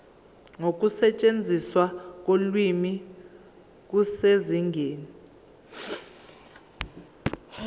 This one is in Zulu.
nokusetshenziswa kolimi kusezingeni